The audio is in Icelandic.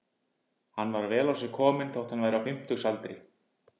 Hann var vel á sig kominn þótt hann væri á fimmtugsaldri.